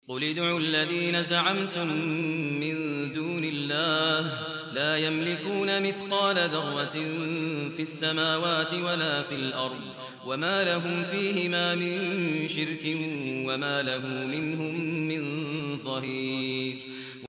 قُلِ ادْعُوا الَّذِينَ زَعَمْتُم مِّن دُونِ اللَّهِ ۖ لَا يَمْلِكُونَ مِثْقَالَ ذَرَّةٍ فِي السَّمَاوَاتِ وَلَا فِي الْأَرْضِ وَمَا لَهُمْ فِيهِمَا مِن شِرْكٍ وَمَا لَهُ مِنْهُم مِّن ظَهِيرٍ